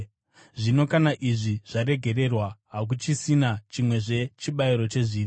Zvino kana izvi zvaregererwa, hakuchisina chimwezve chibayiro chezvivi.